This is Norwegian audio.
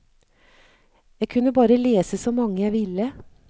Jeg kunne bare lese så mange jeg ville.